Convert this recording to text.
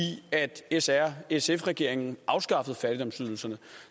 s r sf regeringen afskaffede fattigdomsydelserne